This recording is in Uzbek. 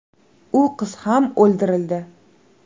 U qiz ham o‘ldirildi.